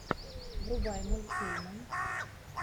врубай мультфильмы